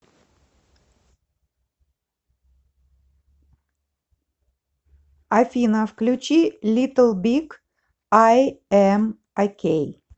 афина включи литл биг ай эм окей